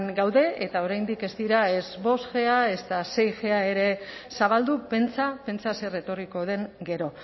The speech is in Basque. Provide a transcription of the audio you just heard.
gaude eta oraindik ez dira ez bostg ezta seig ere zabaldu pentsa pentsa zer etorriko den gero